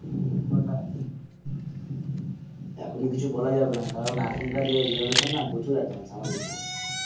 এখন কিছু বলা যাবে না কারণ এখনকার যে generation না প্রচুর advance আমাদের থেকে,